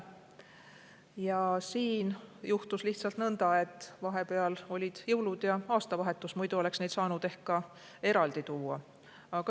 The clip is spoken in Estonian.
Lihtsalt juhtus nõnda, et vahepeal olid jõulud ja aastavahetus, muidu oleks saanud need siia ehk eraldi tuua.